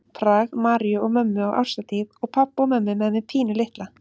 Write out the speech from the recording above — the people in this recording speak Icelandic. Prag, Maríu og mömmu á árshátíð og pabba og mömmu með mig pínulitla.